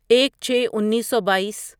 ایک چھے انیسو بائیس